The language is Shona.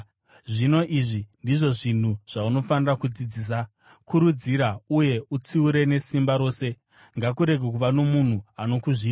Zvino, izvi ndizvo zvinhu zvaunofanira kudzidzisa. Kurudzira uye utsiure nesimba rose. Ngakurege kuva nomunhu anokuzvidza.